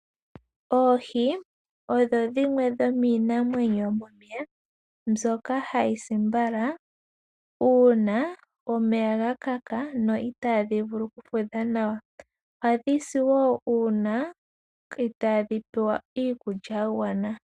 Oohi odho dhimwe dhomiinamwenyo yomomeya mbyoka hayi si mbala uuna omeya ga kaka niitaadhi vulu okufudha nawa. Ohadhi si wo uuna itaadhi pewa iikulya ya gwana.